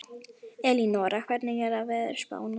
Elínora, hvernig er veðurspáin?